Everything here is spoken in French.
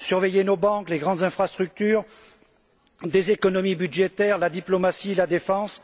Il faut surveiller nos banques, les grandes infrastructures, les économies budgétaires, la diplomatie, la défense.